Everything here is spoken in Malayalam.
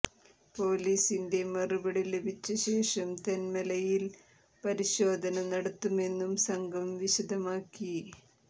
പോലീസിന്റെ മറുപടി ലഭിച്ച ശേഷം തെന്മലയിൽ പരിശോധന നടത്തുമെന്നും സംഘം വിശദമാക്കി